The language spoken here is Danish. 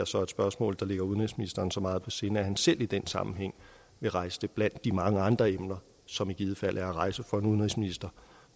så er et spørgsmål der ligger udenrigsministeren så meget på sinde at han selv i den sammenhæng vil rejse det blandt de mange andre emner som i givet fald er at rejse for en udenrigsminister